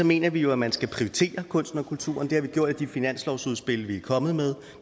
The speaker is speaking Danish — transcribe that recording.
mener vi jo at man skal prioritere kunsten og kulturen det har vi gjort i de finanslovsudspil vi er kommet med